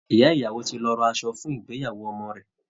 Ìyá ìyàwó ti lọ ra asọ fún ìgbéyàwó ọmọ rẹ̀